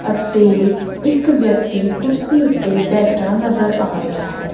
ਅਤੇ ਇੱਕ ਵਿਅਕਤੀ ਕੁਰਸੀ ਓੱਤੇ ਬੈਠਾ ਨਜ਼ਰ ਆ ਰਿਹਾ ਹੈ।